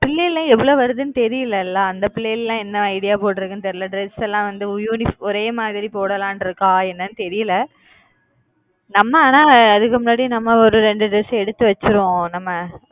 பிள்ளைங்க எல்லாம் எவளோ வருதுன்னு தெரியல ல அந்த பிள்ளைங்க எல்லாம் என்ன idea போட்டிருக்கு தெரியல dress எல்லாம் வந்து ஒரே மாதிரி போடலாம் ன்னு இருகக்கா என்னன்னு தெரியல நம்ம அதான் அதுக்கு முன்னாடியே நம்ம ஒரு இரண்டு எடுத்து வெச்சுடுவோம் நம்ம